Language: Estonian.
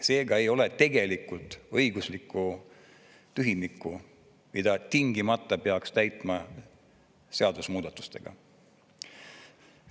Seega ei ole tegelikult õiguslikku tühimikku, mida tingimata peaks täitma seadusmuudatustega.